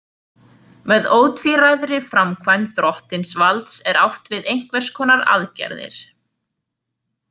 Með ótvíræðri framkvæmd drottinvalds er átt við einhvers konar aðgerðir.